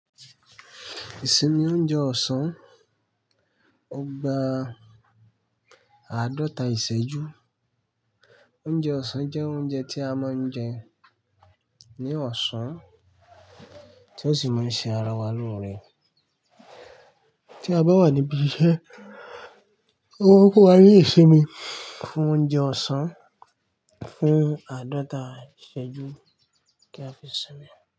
Ìsinmi oúnjẹ ọ̀sán, ọgbà àádọta ìṣẹ́jú. Oúnjẹ ọ̀sán jẹ́ oúnjẹ tí a máa ń jẹ ní ọ̀sán tí ó sì máa ń ṣe ara wa lóore. Tí a bá wà níbi iṣẹ́, ọ maa n fún wa ni isinmi fun oúnjẹ ọ̀sán fún àádọta ìṣẹ́jú kí a fi sinmi.